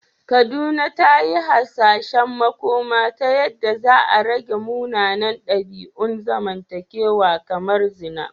Kaduna ta yi hasashen makoma ta yadda za a rage munanan dabi’un zamantakewa kamar zina.